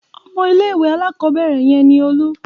Ọmọ ilé-ìwé alákọ̀ọ́bẹ̀rẹ̀ yẹn ni Olú.